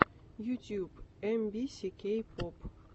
ютьюб эм би си кей поп